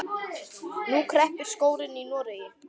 Nú kreppir skórinn í Noregi.